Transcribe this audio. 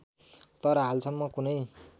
तर हालसम्म कुनै